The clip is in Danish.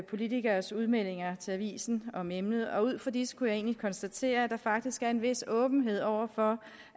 politikeres udmeldinger til avisen om emnet og ud fra disse kunne jeg egentlig konstatere at der faktisk er en vis åbenhed over for